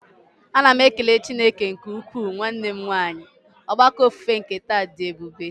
A na m ekele Chineke nke ukwuu nwanne m nwanyị, ogbako ofufe nke taa dị ebube.